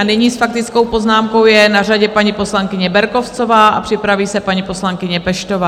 A nyní s faktickou poznámkou je na řadě paní poslankyně Berkovcová a připraví se paní poslankyně Peštová.